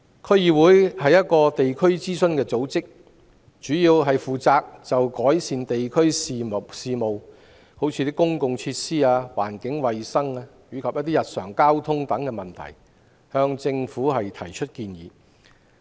區議會是一個地區諮詢組織，主要負責就地區事務，例如公共設施、環境衞生、交通等向政府提出建議。